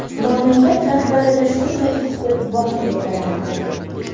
Mamlakat rahbarida shunday huquq bor deb bilardim.